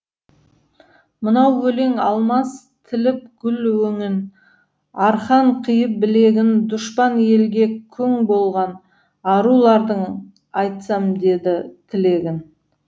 мынау өлең алмас тіліп гүл өңін арқан қиып білегін дұшпан елге күң болған арулардың айтсам дейді тілегін